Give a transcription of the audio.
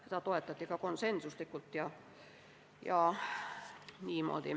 Seda toetati konsensuslikult.